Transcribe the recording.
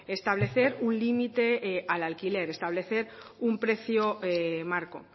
establecer un límite al alquiler establecer un precio marco o